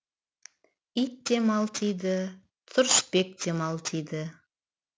ит те малтиды тұрысбек те малтиды